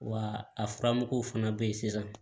Wa a furamuguw fana be ye sisan